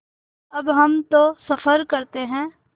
अब हम तो सफ़र करते हैं